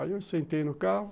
Aí eu sentei no carro.